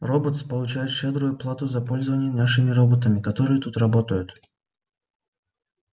роботс получает щедрую плату за пользование нашими роботами которые тут работают